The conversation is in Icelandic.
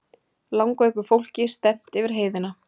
Langveiku fólki stefnt yfir heiðina